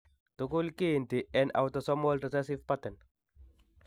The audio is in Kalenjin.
Tugul kiinti en autosomal recessive pattern.